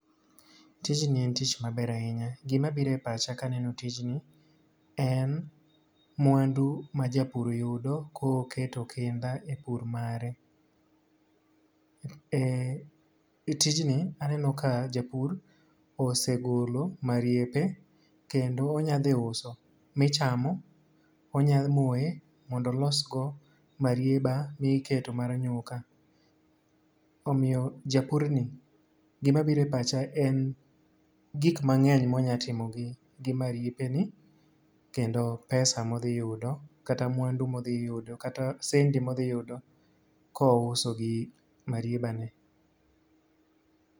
Tijni en tich maber ahinya. Gima biro e pacha ka aneno tijni, en mwandu ma japur yudo ka oketo kinda e pur mare. E e tijni, aneno ka japur osegolo mariepe, kendo onya dhi uso michamo. Onya moye mondo olosgo marieba ma iketo mar nyuka. Omiyo japurni, gima biro e pacha en gik mangény ma onyalo timo gi mariepe ni, kendo pesa ma odhi yudo, kata mwandu ma odhi yudo, kata sendi ma odhi yudo ka ouso gi marieba ni.